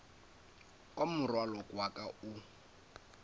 kwa morwalo wa ka o